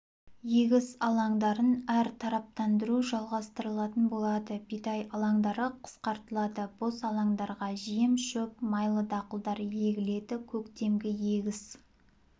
егіс алаңдарын әр тараптандыру жалғастырылатын болады бидай алаңдары қысқартылады бос алаңдарға жем-шөп майлы дақылдар егіледі көктемгі егіс